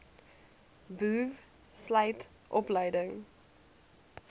boov sluit opleiding